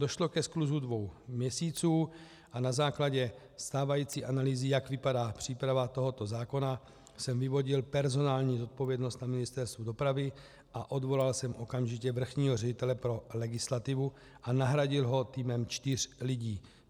Došlo ke skluzu dvou měsíců a na základě stávající analýzy, jak vypadá příprava tohoto zákona, jsem vyvodil personální zodpovědnost na Ministerstvu dopravy a odvolal jsem okamžitě vrchního ředitele pro legislativu a nahradil ho týmem čtyř lidí.